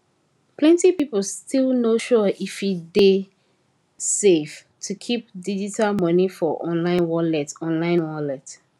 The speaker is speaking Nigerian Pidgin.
plenti pipo still no sure if e dey safe to keep digital money for online wallet online wallet